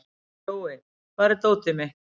Kjói, hvar er dótið mitt?